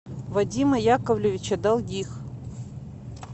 вадима яковлевича долгих